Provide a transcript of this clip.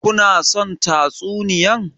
Ku na son tatsuniyan?